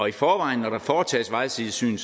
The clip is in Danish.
i forvejen når der foretages vejsidesyn